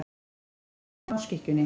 Eins og nælan á skikkjunni.